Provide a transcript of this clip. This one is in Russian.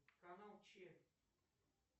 канал че